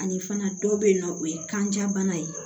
Ani fana dɔ bɛyinɔ o ye kanja bana ye